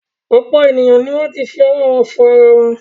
Ọ̀pọ̀ ènìyàn ni wọ́n ti fi ọwọ́ wọn fọ ara wọn.